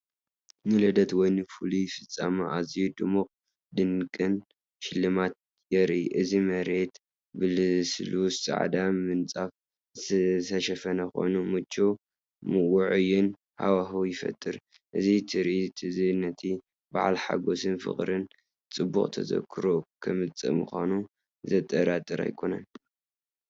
ንልደት ወይ ንፍሉይ ፍጻመ ኣዝዩ ድሙቕን ድንቅን ሽልማት የርኢ፣ እቲ መሬት ብልስሉስ ጻዕዳ ምንጻፍ ዝተሸፈነ ኮይኑ፡ ምቹውን ውዑይን ሃዋህው ይፈጥር። እዚ ትርኢት እዚ ነቲ በዓል ሓጎስን ፍቕርን ጽቡቕ ተዘክሮን ከምጽእ ምዃኑ ዘጠራጥር ኣይኮነን፡፡